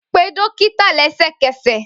Pe dókítà lẹsẹkẹsẹ!